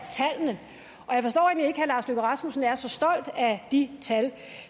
herre lars løkke rasmussen er så stolt af de tal